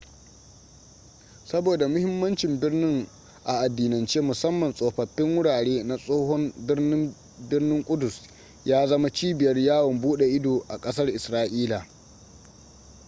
saboda mahimmancin birnin a addinance musamman tsofaffin wurare na tsohon birnin birnin kudus ya zama cibiyar yawon bude ido a kasar israila